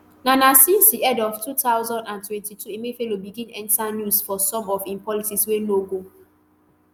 na na since di end of two thousand and twenty-two emefiele begin enta news for some of im policies wey no go